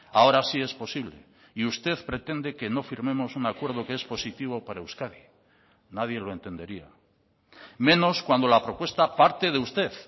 ahora sí es posible y usted pretende que no firmemos un acuerdo que es positivo para euskadi nadie lo entendería menos cuando la propuesta parte de usted